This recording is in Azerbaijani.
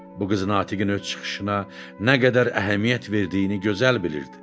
Bu qız Natiqin öz çıxışına nə qədər əhəmiyyət verdiyini gözəl bilirdi.